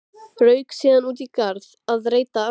Rauk síðan út í garð að reyta arfa.